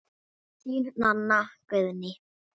Þín, Nanna Guðný.